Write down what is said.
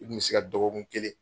I kun bɛ se ka dɔgɔkun kelen